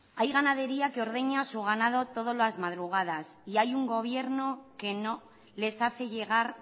hay ganadería que ordeña su ganado todas las madrugadas y hay un gobierno que no les hace llegar